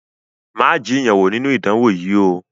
Má jiyàn wo ninu idánwo yìí ó!